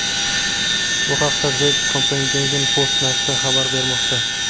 Bu haqda The Copenhagen Post nashri xabar bermoqda .